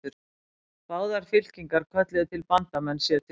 Báðar fylkingar kölluðu til bandamenn sér til stuðnings.